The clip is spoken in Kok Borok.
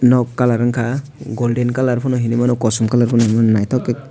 nog colour wngka golden colour pano hinoi mano kosom colour po hinui mano naitok ke.